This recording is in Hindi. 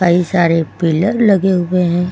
कई सारे पिलर लगे हुए हैं।